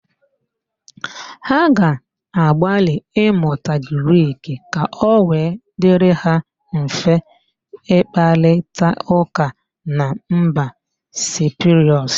Ha ga-agbalị ịmụta Grik ka ọ wee dirị ha mfe ịkparịtaụ́kà na mba Siprus?